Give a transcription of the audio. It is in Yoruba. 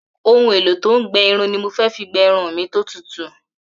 Ohun-èlò-tó-ń-gbẹ-irun ni mo fi gbẹ irun mi tó tutù